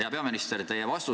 Hea peaminister!